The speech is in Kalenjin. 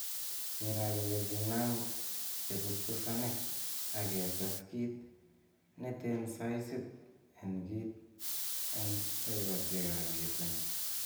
Cheera kele kinam che busbusanik ak ketes kit neten saisit en kit en ekosiek ab yetunet.